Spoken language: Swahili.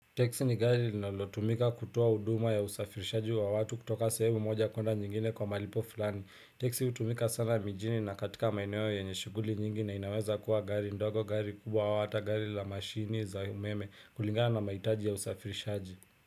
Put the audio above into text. Teksi ni gari linalotumika kutoa huduma ya usafirishaji wa watu kutoka sehemu moja kuenda nyingine kwa malipo fulani. Teksi hutumika sana mijini na katika maeneo yenye shughuli nyingi na inaweza kuwa gari ndogo gari kubwa au hata gari la mashini za umeme kulingana na mahitaji ya usafirishaji.